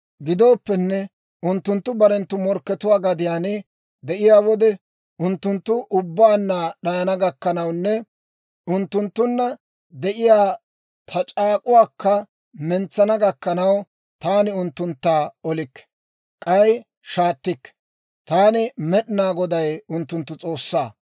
«Gidooppenne unttunttu barenttu morkkatuwaa gadiyaan de'iyaa wode, unttunttu ubbaanna d'ayana gakkanawunne unttunttunna de'iyaa ta c'aak'k'uwaakka mentsana gakkanaw, taani unttuntta olikke; k'ay shaattikke. Taani, Med'inaa Goday, unttunttu S'oossaa.